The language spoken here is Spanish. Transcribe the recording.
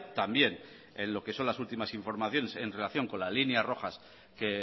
también en lo que son las últimas informaciones en relación con las líneas rojas que